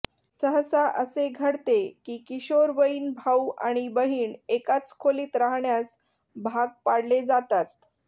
सहसा असे घडते की किशोरवयीन भाऊ आणि बहीण एकाच खोलीत रहाण्यास भाग पाडले जातात